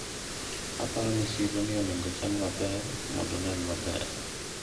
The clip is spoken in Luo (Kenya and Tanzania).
aparo ni siro ni onego ochan maber mondo onen maber